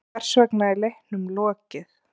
Hversvegna er leiknum lokið?